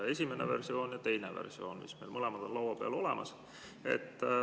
Esimene ja teine versioon on meil mõlemad laua peal olemas.